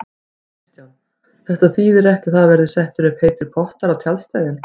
Kristján: Þetta þýðir ekki að það verði settir upp heitir pottar á tjaldstæðin?